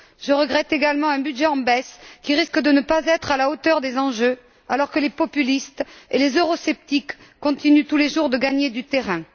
Je regrette également un budget en baisse qui risque de ne pas être à la hauteur des enjeux, alors que les populistes et les eurosceptiques continuent tous les jours de gagner du terrain.